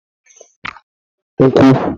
ukwu